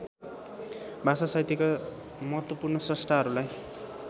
भाषासाहित्यका महत्त्वपूर्ण स्रष्टाहरूलाई